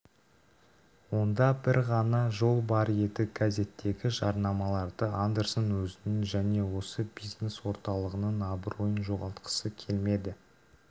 онда бір ғана жол бар еді газеттегі жарнамаларды андерсон өзінің және осы бизнес орталығының абыройын жоғалтқысы келмеді